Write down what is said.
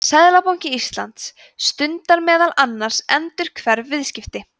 seðlabanki íslands stundar meðal annars endurhverf viðskipti